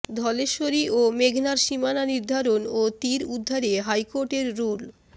ধলেশ্বরী ও মেঘনার সীমানা নির্ধারণ ও তীর উদ্ধারে হাইকোর্টের রুল